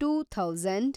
two thousand